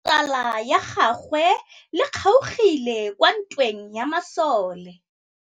Letsôgô la tsala ya gagwe le kgaogile kwa ntweng ya masole.